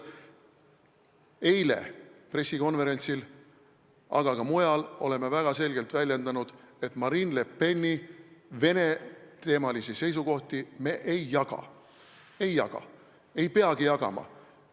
Eile pressikonverentsil me ütlesime ja ka mujal oleme väga selgelt väljendanud, et Marine Le Peni Vene-teemalisi seisukohti me ei jaga, ei peagi jagama.